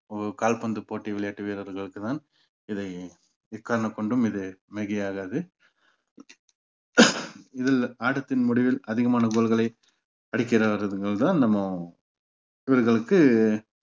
கால்பந்து போட்டி விளையாட்டு வீரர்களுக்குத்தான் இதை எக்காரணம் கொண்டு இது மிகையாகாது இதில் ஆட்டத்தின் முடிவில் அதிகமான goal களை அடிக்கிறார்ங்கிறதுதான் நம்ம இவர்களுக்கு